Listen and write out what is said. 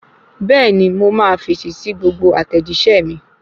Bẹ́ẹ̀ni mo máa fèsì sí gbogbo àtẹ̀jíṣẹ́ mi